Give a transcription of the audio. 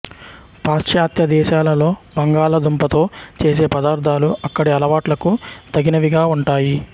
పాశ్చాత్య దేశాలలో బంగాళ దుంపతో చేసే పదార్ధాలు అక్కడి అలవాట్లకు తగినవిగా ఉంటాయి